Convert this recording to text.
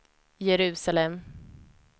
Jerusalem